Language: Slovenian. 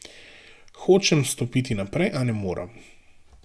Hočem stopiti naprej, a ne morem.